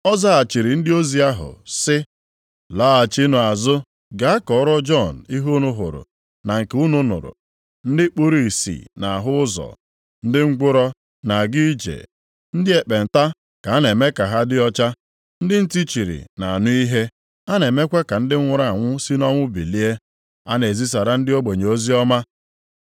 Ọ zaghachiri ndị ozi ahụ sị, “Laghachinụ azụ gaa kọrọ Jọn ihe unu hụrụ na nke unu nụrụ; ndị kpuru ìsì na-ahụ ụzọ, ndị ngwụrọ na-aga ije, ndị ekpenta ka a na-eme ka ha dị ọcha, ndị ntị chiri na-anụ ihe, a na-eme ka ndị nwụrụ anwụ si nʼọnwụ bilie, a na-ezisara ndị ogbenye oziọma.